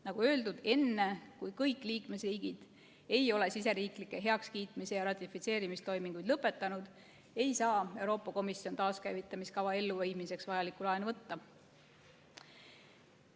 Nagu öeldud, enne kui kõik liikmesriigid ei ole riigisiseseid heakskiitmis- ja ratifitseerimistoimingud lõpetanud, ei saa Euroopa Komisjon taaskäivitamiskava elluviimiseks vajalikku laenu võtta.